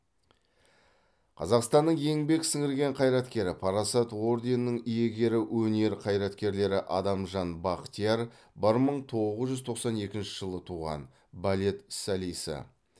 қазақстанның еңбек сіңірген қайраткері парасат орденінің иегері өнер қайраткерлері адамжан бақтияр бір мың тоғыз жүз тоқсан екінші жылы туған балет солисі